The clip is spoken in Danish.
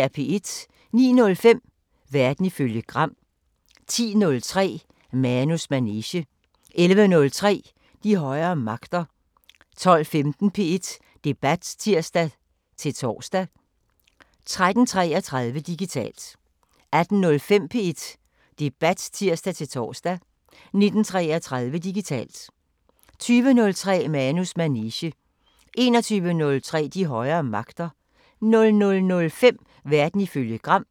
09:05: Verden ifølge Gram 10:03: Manus manege 11:03: De højere magter 12:15: P1 Debat (tir-tor) 13:33: Digitalt 18:05: P1 Debat (tir-tor) 19:33: Digitalt 20:03: Manus manege 21:03: De højere magter 00:05: Verden ifølge Gram